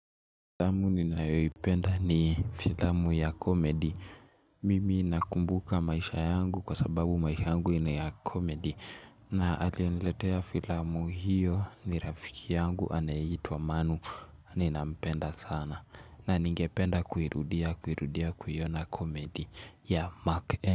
Filamu ninayoipenda ni filamu ya komedi. Mimi nakumbuka maisha yangu kwa sababu maisha yangu ina ya komedi. Na aliyeniletea filamu hiyo ni rafiki yangu anayeitwa manu ninampenda sana. Na ningependa kuirudia kuirudia kuiona komedi ya Mark N.